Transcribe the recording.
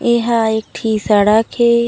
ये ह एक ठी सड़क ए--